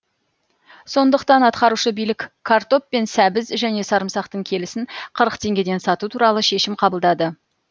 сондықтан атқарушы билік картоп пен сәбіз және сарымсақтың келісін қырық теңгеден сату туралы шешім қабылдады